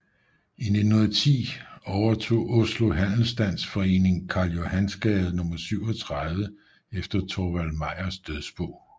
I 1910 overtog Oslo Handelsstands Forening Karl Johans gate 37 efter Thorvald Meyers dødsbo